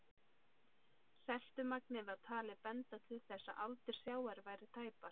Seltumagnið var talið benda til þess að aldur sjávar væri tæpar